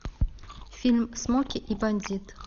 фильм смоки и бандит